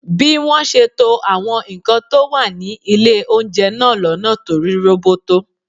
Bí wọ́n ṣe to àwọn nǹkan tó wà ní ilé oúnjẹ náà lọ́nà tó rí roboto